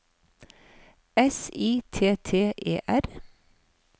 S I T T E R